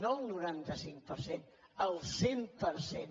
no el noranta cinc per cent el cent per cent